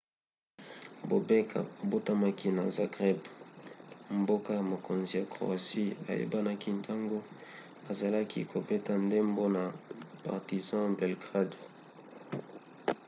bobek abotamaki na zagreb mboka-mokonzi ya croatie ayebanaki ntango azalaki kobeta ndembo na partizan belgrade